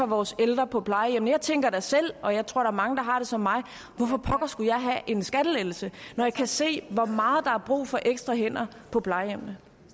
vores ældre på plejehjemmene jeg tænker da selv og jeg tror er mange der har det som mig hvorfor pokker skulle jeg have en skattelettelse når jeg kan se hvor meget der er brug for ekstra hænder på plejehjemmene